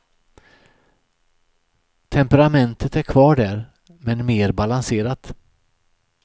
Temperamentet är kvar där, men mer balanserat.